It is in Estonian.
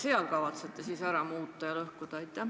Mida te kavatsete seal ära muuta ja lõhkuda?